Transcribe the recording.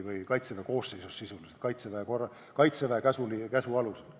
– tellimusel või sisuliselt Kaitseväe koosseisus, Kaitseväe käsu alusel.